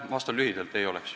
Vastan lühidalt: ei oleks.